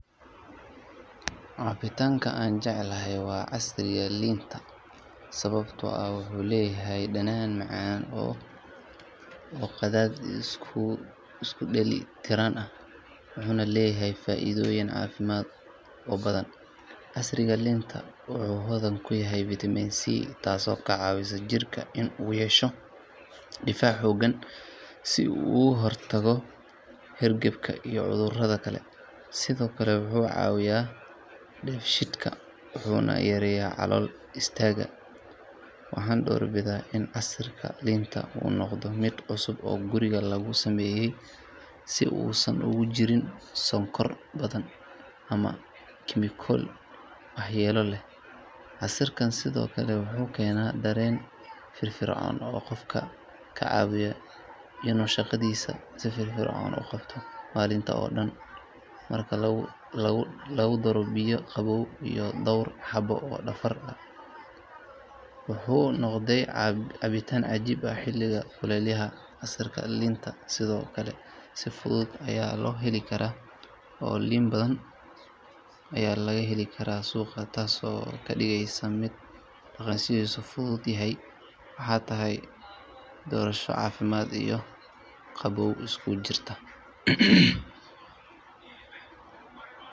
Cabitaanka aan jeclahay waa casiirka liinta sababtoo ah wuxuu leeyahay dhadhan macaan oo qadhaadh isku dheeli tiran ah wuxuuna leeyahay faa’iidooyin caafimaad oo badan. Casiirka liinta wuxuu hodan ku yahay vitamin C taasoo ka caawisa jirka in uu yeesho difaac xooggan si uu uga hortago hargabka iyo cudurrada kale. Sidoo kale wuxuu caawiyaa dheefshiidka wuxuuna yareeyaa calool istaagga. Waxaan doorbidaa in casiirka liinta uu noqdo mid cusub oo guriga lagu sameeyay si uusan ugu jirin sonkor badan ama kiimikooyin waxyeello leh. Casiirkan sidoo kale wuxuu keenaa dareen firfircoon oo qofka ka caawiya inuu shaqadiisa si firfircoon u qabto maalinta oo dhan. Marka lagu daro biyo qabow iyo dhawr xabbo oo baraf ah, wuxuu noqdaa cabitaan cajiib ah xilliga kulaylaha. Casiirka liinta sidoo kale si fudud ayaa loo heli karaa oo liin badan ayaa laga heli karaa suuqa taasoo ka dhigaysa mid dhaqaalihiisu fudud yahay. Waxay tahay doorasho caafimaad iyo qabow isku jirta.